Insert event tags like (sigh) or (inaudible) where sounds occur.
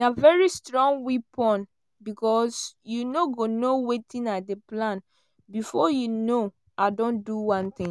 "na very strong weapon (silence) becos you no go know wetin i dey plan bifor you know i don do one tin.